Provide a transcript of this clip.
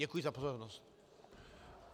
Děkuji za pozornost.